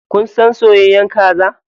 Kun son soyayyar kaza?